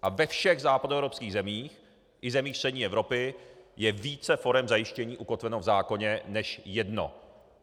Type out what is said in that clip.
A ve všech západoevropských zemích i zemích střední Evropy je více forem zajištění ukotveno v zákoně než jedno.